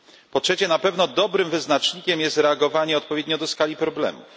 Po trzecie, na pewno dobrym wyznacznikiem jest reagowanie odpowiednio do skali problemów.